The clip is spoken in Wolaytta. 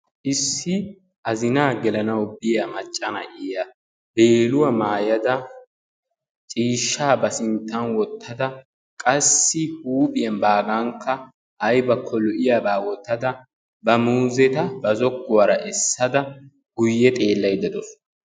issi azinaa gelanawu biya macca na'iya beeluwaa maayada, ciishshaa ba sintan wotada qassi huuphiyan baagankka aybakko loiyaaba wotada ba muuzetta guye xeelaydda de'awusu.